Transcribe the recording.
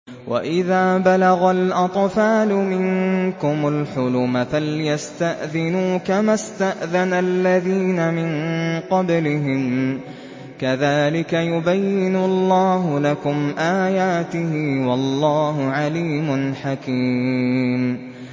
وَإِذَا بَلَغَ الْأَطْفَالُ مِنكُمُ الْحُلُمَ فَلْيَسْتَأْذِنُوا كَمَا اسْتَأْذَنَ الَّذِينَ مِن قَبْلِهِمْ ۚ كَذَٰلِكَ يُبَيِّنُ اللَّهُ لَكُمْ آيَاتِهِ ۗ وَاللَّهُ عَلِيمٌ حَكِيمٌ